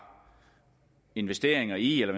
investeringer i eller